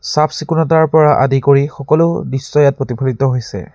চাফ-চিকুণতাৰ পৰা আদি কৰি সকলো দৃশ্যই ইয়াত প্ৰতিফলিত হৈছে।